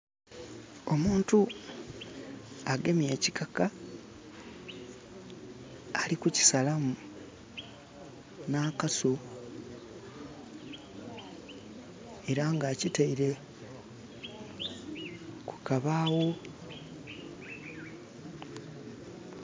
Omuntu agemye ekikaka ali kukisalamu na kaso era nga akitaire ku kabaawo